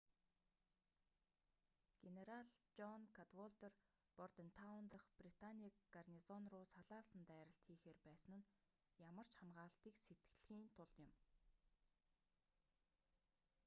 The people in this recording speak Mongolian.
генерал жон кадволдер бордентаун дахь британы гарнизонруу салаалсан дайралт хийхээр байсан нь ямар ч хамгаалатыг сэтлэхийн тулд юм